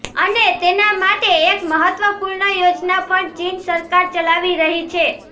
અને તેના માટે એક મહત્વપૂર્ણ યોજના પણ ચીન સરકાર ચલાવી રહી છે